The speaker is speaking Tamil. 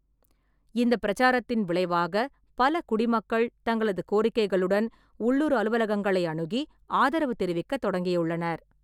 இந்தப் பிரச்சாரத்தின் விளைவாக, பல குடிமக்கள் தங்களது கோரிக்கைகளுடன் உள்ளூர் அலுவலகங்களை அணுகி, ஆதரவு தெரிவிக்கத் தொடங்கியுள்ளனர்.